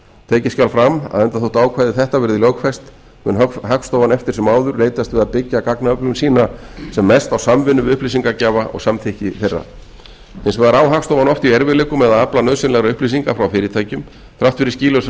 tekið skal fram að enda þótt ákvæði þetta verði lögfest mun hagstofan eftir sem áður leitast við að byggja gagnaöflun sína sem mest á samvinnu við upplýsingagjafa og samþykki þeirra hins vegar á hagstofan oft í erfiðleikum með að afla nauðsynlegra upplýsinga frá fyrirtækjum þrátt fyrir skýlausa